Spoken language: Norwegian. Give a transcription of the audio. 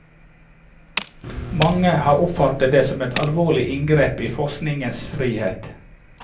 Mange har oppfattet dette som et alvorlig inngrep i forskningens frihet.